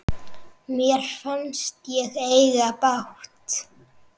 Mér fannst ég eiga bágt.